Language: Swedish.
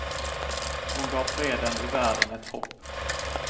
Hon gav freden i världen ett hopp.